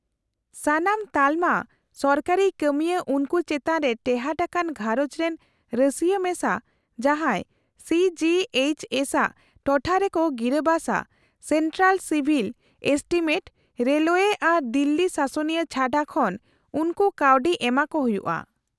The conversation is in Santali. - ᱥᱟᱱᱟᱢ ᱛᱟᱞᱚᱢᱟ ᱥᱚᱨᱠᱟᱨᱤ ᱠᱟᱹᱢᱤᱭᱟᱹ ᱩᱱᱠᱩ ᱪᱮᱛᱟᱱ ᱨᱮ ᱴᱮᱦᱟᱴ ᱟᱠᱟᱱ ᱜᱷᱟᱸᱨᱚᱡᱽᱨᱮᱱ ᱨᱟᱹᱥᱤᱭᱟᱹ ᱢᱮᱥᱟ ᱡᱟᱦᱟᱸᱭ ᱥᱤ ᱡᱤ ᱮᱭᱤᱪ ᱮᱥ ᱟᱜ ᱴᱚᱴᱷᱟᱨᱮᱠᱚ ᱜᱤᱨᱟᱹᱵᱟᱥᱼᱟ , ᱥᱮᱱᱴᱨᱟᱞ ᱥᱤᱵᱷᱤᱞ ᱮᱥᱴᱤᱢᱮᱴ ( ᱨᱮᱞᱳᱭᱮ ᱟᱨ ᱫᱤᱞᱞᱤ ᱥᱟᱥᱚᱱᱤᱭᱟᱹ ᱪᱷᱟᱰᱟ) ᱠᱷᱚᱱ ᱩᱱᱠᱩ ᱠᱟᱹᱣᱰᱤ ᱮᱢᱟᱠᱚ ᱦᱩᱭᱩᱜᱼᱟ ᱾